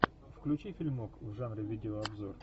включи фильмок в жанре видеообзор